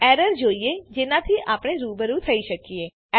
હવે ચાલો એરર જોઈએ જેનાંથી આપણે રૂબરૂ થઇ શકીએ